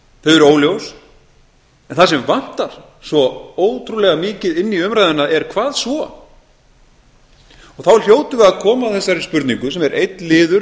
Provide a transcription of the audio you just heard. þau eru óljós en það sem vantar svo ótrúlega mikið inn í umræðuna er hvað svo og þá hljótum við að koma að þessari spurningu sem er einn liður